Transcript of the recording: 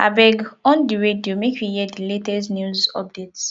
abeg on di radio make we hear di latest news update